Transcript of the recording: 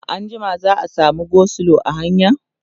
anjima za'a samu go slow a hanya?